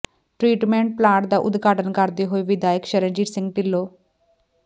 treatment plant ਦਾ ਉਦਘਾਟਨ ਕਰਦੇ ਹੋਏ ਵਿਧਾਇਕ ਸ਼ਰਨਜੀਤ ਸਿੰਘ ਢਿੱਲੋਂ